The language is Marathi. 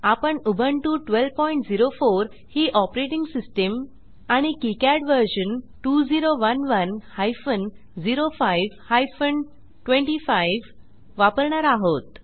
आपण उबुंटू 1204 ही ऑपरेटिंग सिस्टीम आणि किकाड व्हर्शन 2011 हायफेन 05 हायफेन 25 वापरणार आहोत